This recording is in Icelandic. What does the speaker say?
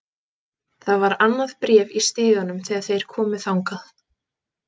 Það var annað bréf í stiganum þegar þeir komu þangað.